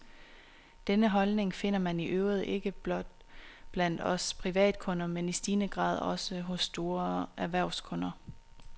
Denne holdning finder man i øvrigt ikke blot blandt os privatkunder, men i stigende grad også hos store erhvervskunder.